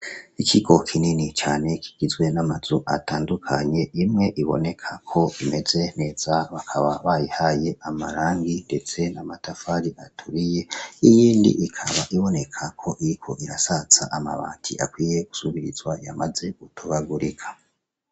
Ikigo kinini cane kigizwe n'amazu atandukanye imwe iboneka ko imeze neza bakaba barayihaye amarangi ndetse n'amatafari aturiye iyindi ikaba iboneka ko iriko irasaza amabati akwiye gusubirizwa yamaze gutobagurika .